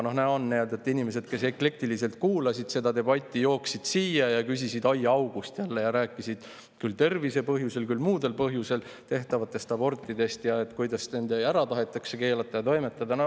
Näha oli, et inimesed, kes seda debatti eklektiliselt kuulasid, jooksid siia ja küsisid aiaaugust: rääkisid küll tervislikel põhjustel, küll muudel põhjustel tehtavatest abortidest, kuidas need tahetakse ära keelata.